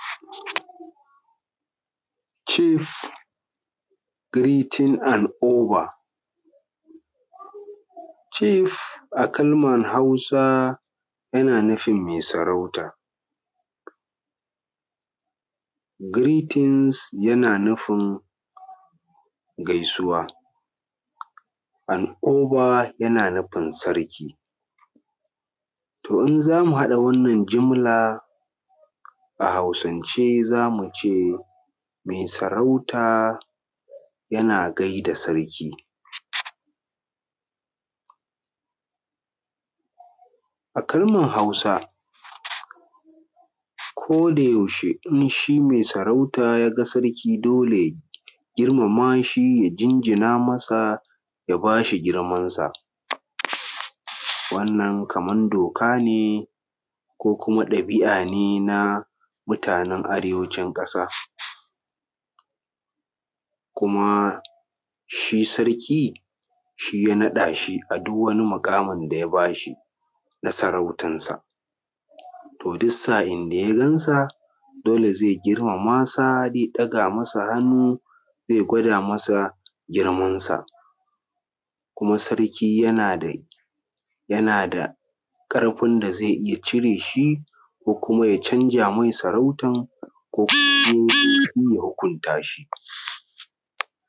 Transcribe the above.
Cif giretin and obar. Cef a kalmar Hausa yana nufin mai sarauta, giretin yana nufin gaisuwa andober yana nufin sarki. To in zamu haɗa wannan jummala a hausance zamu ce mai sarauta yana gai da sarki. A kalman Hausa koda yaushe in shi mai sarauta yaga sarki dole girmama shi ya jinjina masa ya ba bashi girmansa, wannan kaman doka ne ko kuma ɗabi’a ne na mutanen arewacin ƙasa, kuma shi sarki shi ya naɗa shi a duk wani muƙamin daya bashi na sarautansa, to duk sa’in da da yagansa dole zai girmamasa zai ɗaga masa hannu zai gwada masa girmansa, kuma sarki yana da, yana da ƙarfin da zai iya cire shi ko kuma ya canza mai sarautan ko kuma in ye laifi ya hukunta shi.